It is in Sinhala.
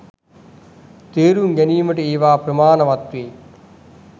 තේරුම් ගැනීමට ඒවා ප්‍රමාණවත් වේ.